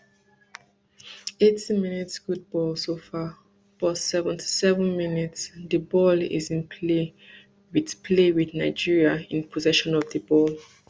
eighty mins good ball so far but seventy-seven mins di ball is in play wit play wit nigeria in possession of di ball